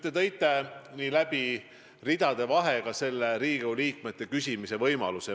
Te tõite ridade vahel välja ka Riigikogu liikmete küsimisvõimaluse.